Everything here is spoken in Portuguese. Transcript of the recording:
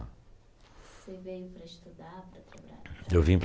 Você veio para estudar, para trabalhar? Eu vim para